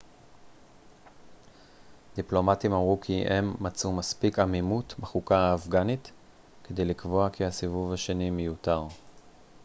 דיפלומטים אמרו כי הם מצאו מספיק עמימות בחוקה האפגנית כדי לקבוע כי הסיבוב השני מיותר